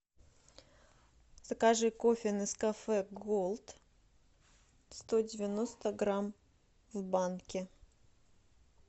закажи кофе нескафе голд сто девяносто грамм в банке